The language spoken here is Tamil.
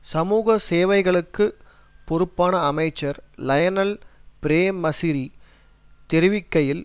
சமூக சேவைகளுக்குப் பொறுப்பான அமைச்சர் லயனல் பிரேமசிறி தெரிவிக்கையில்